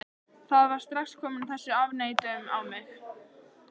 Það var strax komin þessi afneitun á mig.